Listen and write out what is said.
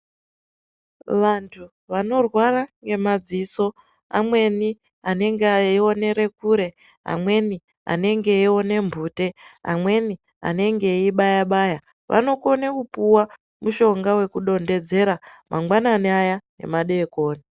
Vantu vanorwara ngemadziso amweni anenge ayionera kure amweni anenge eyione mbute amweni anenge eyi baya baya vanokone kupuwa mushonga wekudondedzera mangwanani ayaa nemadekoni.